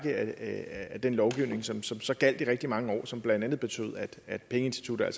af den lovgivning som så så gjaldt i rigtig mange år og som altså blandt andet betød at pengeinstitutter